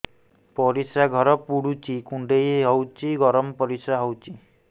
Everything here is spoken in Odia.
ପରିସ୍ରା ଘର ପୁଡୁଚି କୁଣ୍ଡେଇ ହଉଚି ଗରମ ପରିସ୍ରା ହଉଚି